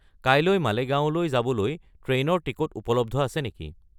কাইলৈ মালেগাওঁলৈ যাবলৈ ট্ৰেইনৰ টিকট উপলব্ধ আছে নেকি